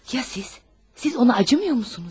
Ya siz, siz ona acımırsınızmı?